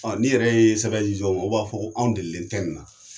Ni yɛrɛ ye sɛbɛn ji dow ma o' b'a fɔ ko anw delilen tɛ in na.